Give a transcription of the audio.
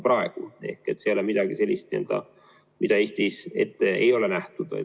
See ei ole midagi sellist, mida Eestis ette ei ole nähtud.